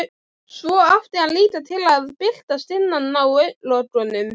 Svo átti hann líka til að birtast innan á augnlokunum.